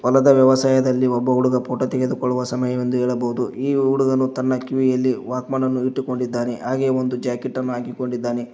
ಹೊಲದ ವ್ಯವಸಾಯದಲ್ಲಿ ಒಬ್ಬ ಹುಡುಗ ಫೋಟೊ ತೆಗೆದು ಕೊಳ್ಳುವ ಸಮಯ ಎಂದು ಹೇಳಬಹುದು ಈ ಹುಡುಗನು ತನ್ನ ಕಿವಿಯಲ್ಲಿ ವಾಕ್ಮನ್ ಅನ್ನು ಹಾಕಿಕೊಂಡಿದ್ದಾನೆ ಹಾಗೆ ಒಂದು ಜಾಕೆಟ್ ಅನ್ನು ಹಾಕಿಕೊಂಡಿದ್ದಾನೆ.